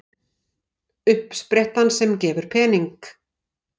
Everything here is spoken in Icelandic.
Uppsprettan sem gefur pening